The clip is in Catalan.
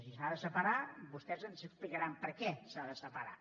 si s’ha de separar vostès ens explicaran per què s’ha de separar